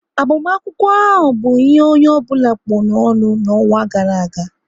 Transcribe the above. Agbamakwụkwọ ahụ bụ ihe onye ọbụla kpụ n'ọnụ n'ọnwa gara aga